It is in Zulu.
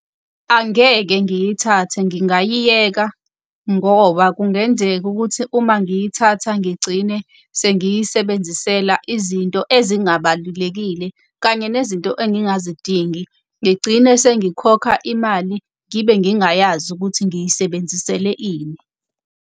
Angeke ngiyithathe ngingayiyeka ngoba kungenzeka ukuthi uma ngiyithatha ngigcine sengiyisebenzisela izinto ezingabalulekile kanye nezinto engingazidingi. Ngigcine sengikhokha imali ngibe ngingayazi ukuthi ngiyisebenzisele ini.